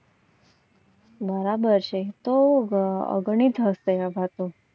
બરાબર છે તો ઘણી થશે.